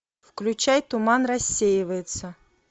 включай туман рассеивается